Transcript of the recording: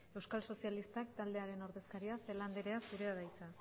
euskal sozialistak taldearen ordezkaria celaá anderea zurea da hitza